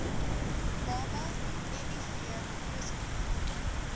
baba miv positief